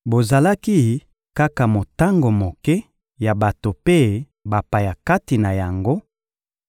Bozalaki kaka motango moke ya bato mpe bapaya kati na yango;